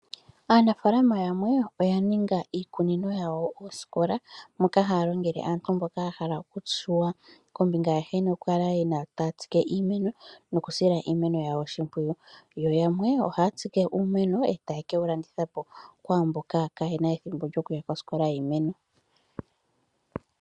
Aanafalama yamwe oya ninga iikunino yawo osikola moka haya longele aantu mboya ya hala okushuwa kombinga nkene aantu yena okutsika iimeno nokusila iimeno yawo oshimpwiyu yo yamwe ohaya tsike uumeno yo tayeke wulandithapo kwaamboka kayena ethimbo lyokuya kosikola yokutsika iimeno.